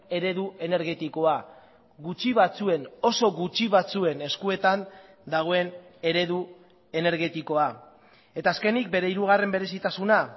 eredu energetikoa gutxi batzuen oso gutxi batzuen eskuetan dagoen eredu energetikoa eta azkenik bere hirugarren berezitasuna